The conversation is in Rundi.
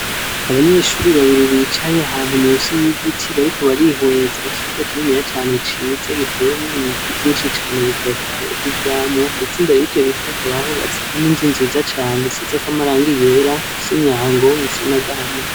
Abanyeshuri babiri bicaye ahantu munsi yigiti .Bariko barihweza Ikibuga kininiya cane ciza giteyemwo Ibiti vyinshi cane bitotahaye vyivyamwa. Ndetse mbere yivyobiti inzu nziza isize amarangi yera Ifise Imyango isa n'agahama.